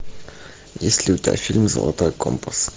есть ли у тебя фильм золотой компас